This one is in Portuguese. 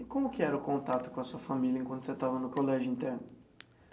E como que era o contato com a sua família enquanto você estava no colégio interno?